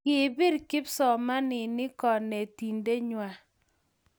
Kipir kipsomaninik konetinte ng'wang